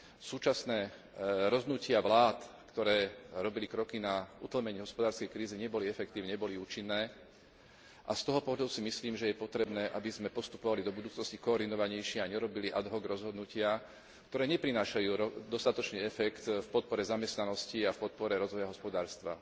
Súčasné rozhodnutia vlád, ktoré robili kroky na utlmenie hospodárskej krízy, neboli efektívne, neboli účinné a z toho pohľadu si myslím, že je potrebné, aby sme postupovali do budúcnosti koordinovanejšie a nerobili ad hoc rozhodnutia, ktoré neprinášajú dostatočný efekt v podpore zamestnanosti a v podpore rozvoja hospodárstva.